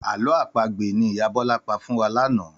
Àlọ́ àpagbè ni ìyá Bọ́lá pa fún wa lánàá